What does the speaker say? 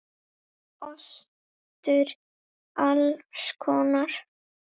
Ostur alls konar.